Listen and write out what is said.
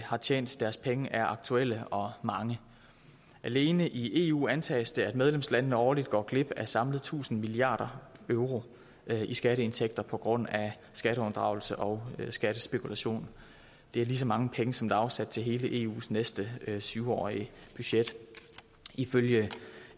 har tjent deres penge er aktuelle og mange alene i eu antages det at medlemslandene årligt går glip af samlet tusind milliard euro i skatteindtægter på grund af skatteunddragelse og skattespekulation det er lige så mange penge som der er afsat til hele eus næste syv årige budget ifølge